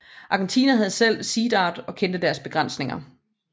Argentina havde selv Sea Dart og kendte dets begrænsninger